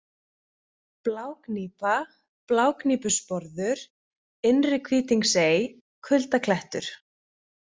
Blágnípa, Blágnípusporður, Innri-Hvítingsey, Kuldaklettur